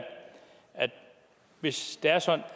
hvis det er sådan